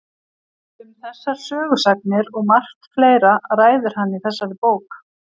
Um þessar sögusagnir og margt fleira ræðir hann í þessari bók.